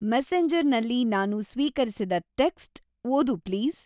ಮೆಸೆಂಜರ್‌ನಲ್ಲಿ ನಾನು ಸ್ವೀಕರಿಸಿದ ಟೆಕ್ಸ್ಟ್ ಓದು ಪ್ಲೀಸ್